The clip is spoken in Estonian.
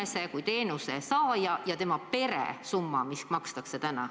See on teenuse saaja ja tema pere maksatav summa.